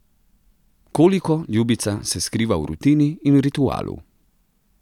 Koliko, ljubica, se skriva v rutini in ritualu.